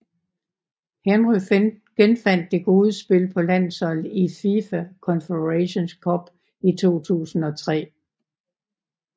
Henry genfandt det gode spil på landsholdet i FIFA Confederations Cup 2003